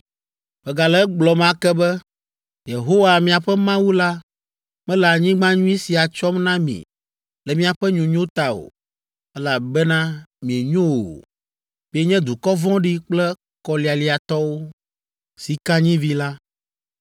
Megale egblɔm ake be, Yehowa, miaƒe Mawu la mele anyigba nyui sia tsɔm na mi le miaƒe nyonyo ta o, elabena mienyo o. Mienye dukɔ vɔ̃ɖi kple kɔlialiatɔwo.”